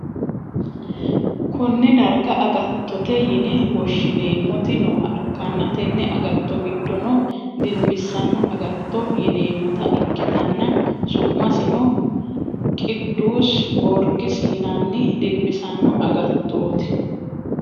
konne darga agatttote yine woshshineemmoti nooha ikkanna, tenne agatto giddono dinbissanno agatto yineemmota ikkitana, su'masino qiddusi gorgiisi yinanni dinbissanno agattooti.